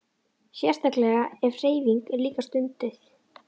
Sérstaklega ef hreyfing er líka stunduð.